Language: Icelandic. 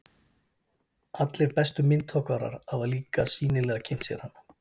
Allir bestu myndhöggvarar hafa líka sýnilega kynnt sér hana.